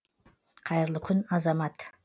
қайырлы күн азамат